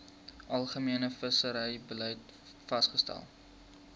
algemene visserybeleid vasgestel